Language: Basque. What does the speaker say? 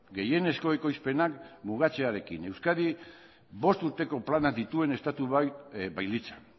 gehienezko ekoizpenak mugatzearekin euskadi bost urteko plana dituen estatu bailitzan